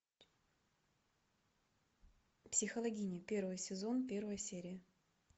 психологини первый сезон первая серия